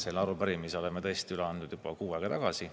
Selle arupärimise oleme tõesti üle andnud juba kuu aega tagasi.